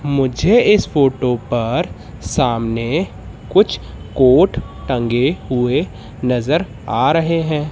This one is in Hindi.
मुझे इस फोटो पर सामने कुछ कोट टंगे हुए नजर आ रहें हैं।